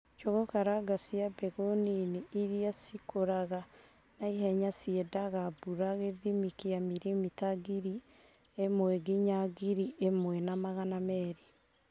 Njūgū karanga cia mbegū nini iria cikūraga na ihenya ciendaga mbura gīthimi kīa milimita ngiri ĩmwenginya ngiri ĩmwena magana merĩ.